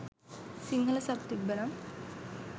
Sinhala sub තිබ්බනම්